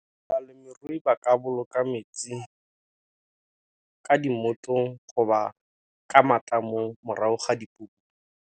Balemirui ba ka boloka metsi ka di ka matamong, morago ga dipula.